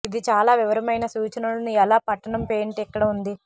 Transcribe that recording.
ఇది చాలా వివరమైన సూచనలను ఎలా పట్టణం పేయింట్ ఇక్కడ ఉంది